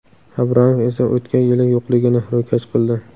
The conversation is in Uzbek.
Abramov esa o‘tgan yili yo‘qligini ro‘kach qildi.